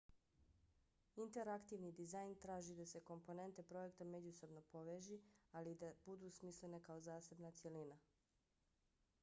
interaktivni dizajn traži da se komponente projekta međusobno poveži ali i da budu smislene kao zasebna cjelina